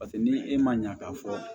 Paseke ni e ma ɲa k'a fɔ